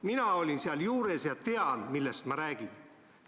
Mina olin seal juures ja tean, millest ma räägin.